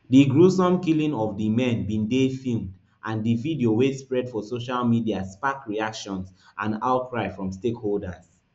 di gruesome killing of di men bin dey filmed and di video wey spread for social media spark reactions and outcry from stakeholders